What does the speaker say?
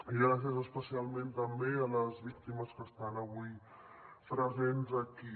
i gràcies especialment també a les víctimes que estan avui presents aquí